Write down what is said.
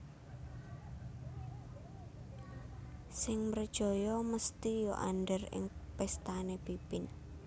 Sing mrejaya mesthi ya andher ing péstané Pipin